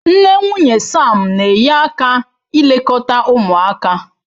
Nne nwunye Sam na-enye aka ilekọta ụmụaka.